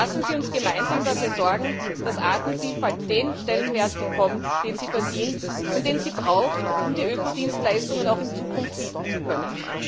Lassen Sie uns gemeinsam dafür sorgen, dass Artenvielfalt den Stellenwert bekommt, den sie verdient und den sie braucht, um ihre Ökodienstleistungen auch in Zukunft bieten zu können!